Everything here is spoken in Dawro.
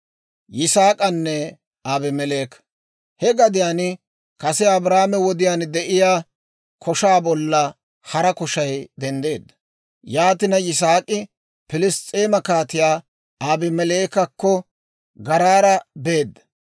He gadiyaan kase Abrahaame wodiyaan de'iyaa koshaa bolla hara koshay denddeedda; yaatina Yisaak'i Piliss's'eema kaatiyaa Abimeleekekko Garaara beedda.